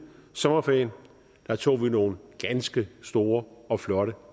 sommerferien tog nogle ganske store og flotte